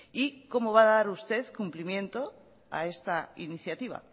y cómo va a dar usted cumplimiento a esta iniciativa